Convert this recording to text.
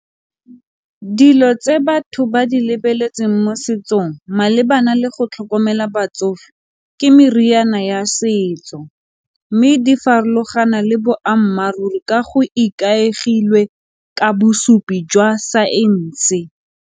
Dilo tse batho ba di lebeletseng mo setsong malebana le go tlhokomela batsofe ke meriana ya setso mme di farologana le boammaaruri ka go ikaegilwe ka bosupi jwa saense.